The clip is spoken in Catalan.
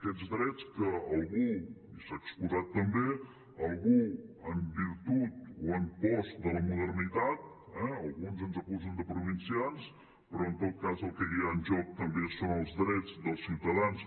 aquests drets que algú i s’ha exposat també algú en virtut o en post de la modernitat eh alguns ens acusen de provincians però en tot cas el que hi ha en joc també són els drets dels ciutadans